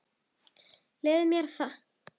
Leyfðu mér það